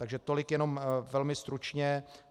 Takže tolik jenom velmi stručně.